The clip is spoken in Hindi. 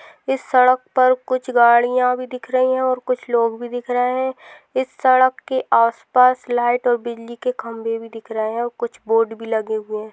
इस सड़क पर कुछ गाड़िया भी दिख रही है और कुछ लोग भी दिख रहे है इस सड़क के आस पास लाइट और बिजली के खंबे भी दिख रहे है और कुछ बोर्ड भी लगे हुए है।